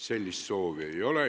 Sellist soovi ei ole.